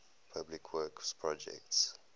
public works projects